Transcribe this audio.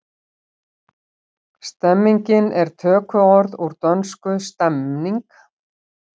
Stemning er tökuorð úr dönsku stemning.